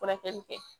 Furakɛli kɛ